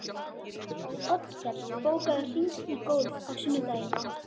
Oddkell, bókaðu hring í golf á sunnudaginn.